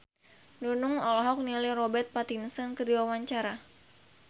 Nunung olohok ningali Robert Pattinson keur diwawancara